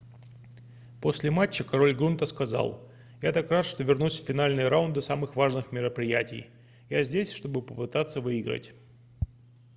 после матча король грунта сказал я так рад что вернусь в финальные раунды самых важных мероприятий я здесь чтобы попытаться выиграть